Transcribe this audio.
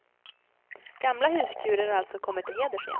Gamla huskurer har alltså kommit till heders igen.